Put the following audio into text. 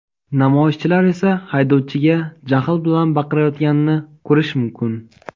Namoyishchilar esa haydovchiga jahl bilan baqirayotganini ko‘rish mumkin.